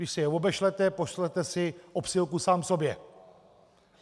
Když si je obešlete, pošlete si obsílku sám sobě.